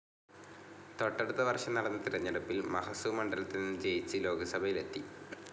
തൊട്ടടുത്ത വർഷം നടന്ന തിരഞ്ഞെടുപ്പിൽ മഹസു മണ്ഡലത്തിൽനിന്ന് ജയിച്ച് ലോക്‌സഭയിലെത്തി.